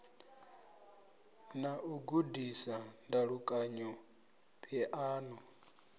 na u gudisa ndalukanyo phiano